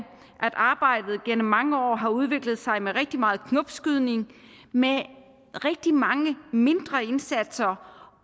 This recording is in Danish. at arbejdet gennem mange år har udviklet sig med rigtig meget knopskydning med rigtig mange mindre indsatser